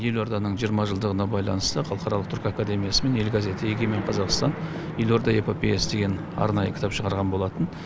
елорданың жиырма жылдығына байланысты халықаралық түркі академиясы мен ел газеті егемен қазақстан елорда эпопеясы деген арнайы кітап шығарған болатын